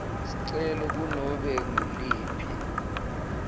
sicelo kunobe nguliphi